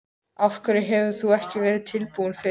Af hverju hefur þú ekki verið tilbúin fyrr?